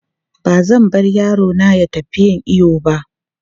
Ba zan bar yaro na ya tafi yin iyo ba.